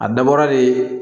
A dabɔra de